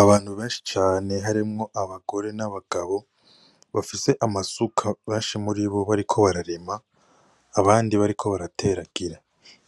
Abantu benshi cane harimwo abagore n' abagabo bafise amasuka benshi muri bo bariko bararima abandi bariko barateragira